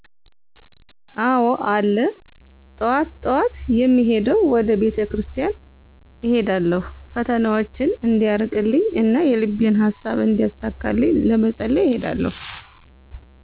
አዎ አለ ጠዋት ጠዋት የምሄደዉ ወደ ቤተክርስቲያን እሄዳለሁ ፈተናዎቸን እንዲያርቅልኝ እና የልቤን ሃሳብ እንዲያሳካልኝ ለመፀለይ እሄዳለሁ